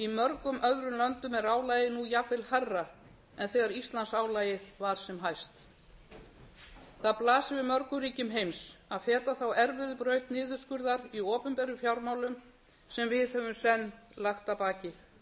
í mörgum öðrum löndum er álagið nú jafnvel hærra en þegar íslandsálagið var sem hæst það blasir við mörgum ríkjum heims að feta þá erfiðu braut niðurskurðar í opinberum fjármálum sem við höfum senn lagt að baki